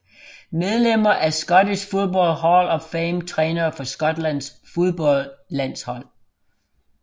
Medlemmer af Scottish Football Hall of Fame Trænere for Skotlands fodboldlandshold